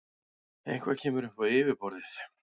Eitthvað kemur upp á yfirborðið